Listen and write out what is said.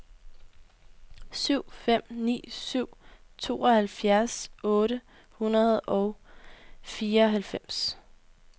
syv fem ni syv tooghalvfjerds otte hundrede og fireoghalvfems